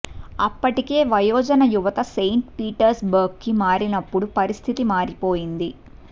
అప్పటికే వయోజన యువత సెయింట్ పీటర్స్బర్గ్ కి మారినప్పుడు పరిస్థితి మారిపోయింది